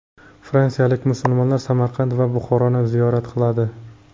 Fransiyalik musulmonlar Samarqand va Buxoroni ziyorat qiladi.